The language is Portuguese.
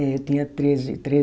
É, eu tinha treze, treze